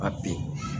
Ka bin